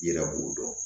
Yɛrɛ b'o dɔn